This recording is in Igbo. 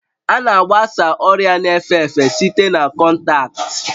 A na-agbasa ọrịa na-efe efe site na kọntaktị